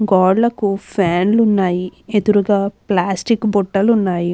గోడలకి ఫ్యాన్లు ఉన్నాయి. ఎదురుగా ప్లాస్టిక్ బుట్టలు ఉన్నాయి.